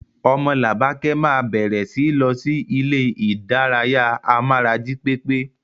Omolabake máa bẹ̀rẹ̀ síi lọ sí ilé ìdárayá amára jí pépé.